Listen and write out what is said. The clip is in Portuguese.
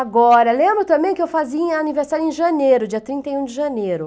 Agora, lembro também que eu fazia aniversário em janeiro, dia trinta e um de janeiro.